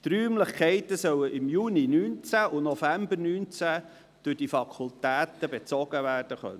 Die Räumlichkeiten sollen im Juni und November 2019 durch die Fakultäten bezogen werden können.